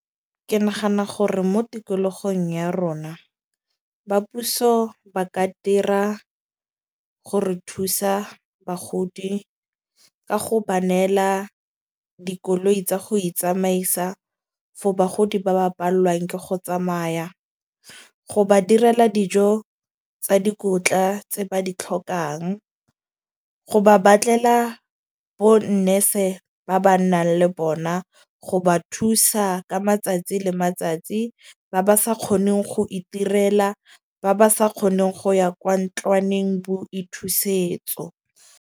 Ke nagana gore mo tikologong ya rona ba puso ba ka dira gore thusa bagodi, ka go ba neela dikoloi tsa go itsamaisa for bagodi ba ba pallwang ke go tsamaya. Go ba direla dijo tsa dikotla tse ba di tlhokang. Go ba batlela bo nurse ba ba nnang le bona. Go ba thusa ka matsatsi le matsatsi, ba ba sa kgoneng go iterela ba ba sa kgoneng go ya kwa ntlwaneng boithusetso.